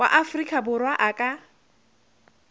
wa afrika borwa a ka